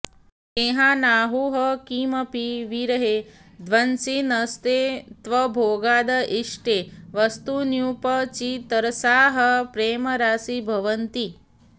स्नेहानाहुः किमपि विरहे ध्वंसिनस्ते त्वभोगाद् इष्टे वस्तुन्युपचितरसाः प्रेमराशीभवन्ति